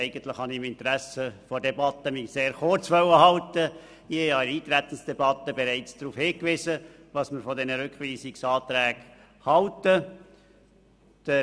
Ich habe bereits im Rahmen der Eintretensdebatte darauf hingewiesen, was wir von diesen Rückweisungsanträgen halten.